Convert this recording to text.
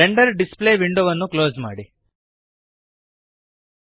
render display ವಿಂಡೋವನ್ನು close ಮಾಡಿರಿ